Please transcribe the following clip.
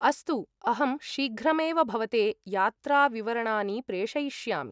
अस्तु, अहं शीघ्रमेव भवते यात्राविवरणानि प्रेषयिष्यामि।